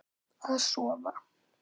Að sofa.